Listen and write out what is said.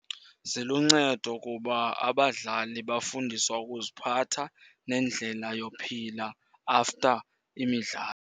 Ziluncedo kuba abadlali bafundiswa ukuziphatha nendlela yophila after imidlalo.